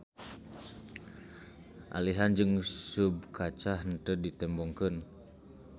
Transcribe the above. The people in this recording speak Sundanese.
Alihan jeung subkaca henteu ditembongkeun.